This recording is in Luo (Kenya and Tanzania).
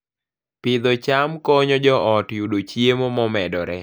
Pidho cham konyo joot yudo chiemo momedore